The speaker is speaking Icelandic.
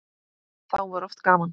Þá var oft gaman.